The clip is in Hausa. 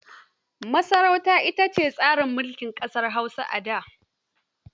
Masarauta ita ce tsarin mulki a ƙasar Hausa a da.